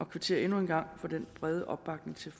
kvitterer endnu en gang for den brede opbakning til